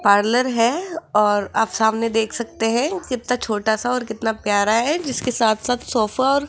parlour है और आप सामने देख सकते है कितना छोटा सा और कितना प्यारा है जिसके साथ साथ सोफा और --